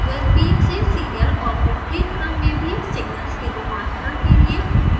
यह usb से serial और विपरीत क्रम में भी सिग्नल्स के रूपांतरण के लिए उपयोग किया जाता है